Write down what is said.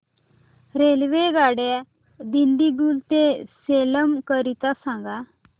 रेल्वेगाड्या दिंडीगुल ते सेलम करीता सांगा